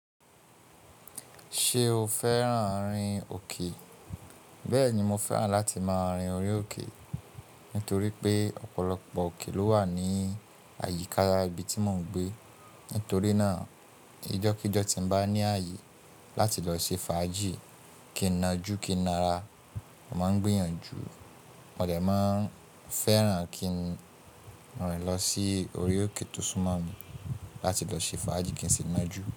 Ṣé o fẹ́ràn rin òkè? Bẹ́ẹ̀ni, mo fẹ́ràn láti máa rin orí òkè, nítorí pé ọ̀pọ̀lọpọ̀ òkè ló wà ní àyíká ibi tí mò ń gbé. Nítorí náà, ijọ́ kí jọ́ tí mo bá ní ààyè láti lọ ṣe fàájì, kí n najú, kí n na ara, màá ń gbìyànjú. Mo dẹ̀ máa ń fẹ́ràn kí n rin lọ sí orí òkè tó súmọ́ mi láti lọ ṣe fàájì kí n sì najú.